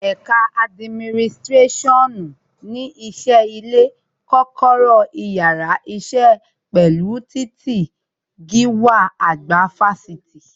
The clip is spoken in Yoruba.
Ẹ̀ka adiminisirasionu ní ṣe ilé, kọ́kọ́rọ́ yàrá isẹ, pẹ̀lú titi gíwá àgbà Fáṣítì